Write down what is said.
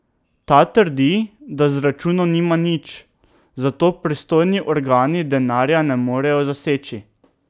Ta trdi, da z računom nima nič, zato pristojni organi denarja ne morejo zaseči.